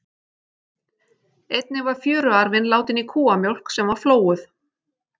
Einnig var fjöruarfinn látinn í kúamjólk sem var flóuð.